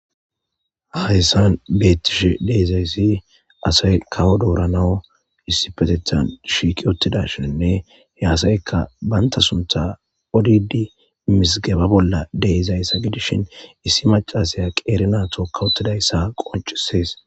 hahyssan beettishe deezayssi asay kawo dooranawu issi petethan shiiki ottidashinne he asayeka banta suntha odidi misigeba bolla deezayssa gidishin issi macasaya qeere naato kawotidayssa qoncisees